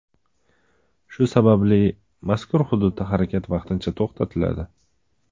Shu sababli mazkur hududda harakat vaqtincha to‘xtatiladi.